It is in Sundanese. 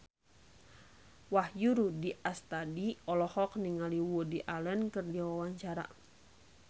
Wahyu Rudi Astadi olohok ningali Woody Allen keur diwawancara